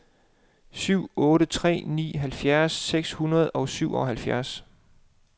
syv otte tre ni halvtreds seks hundrede og syvoghalvfjerds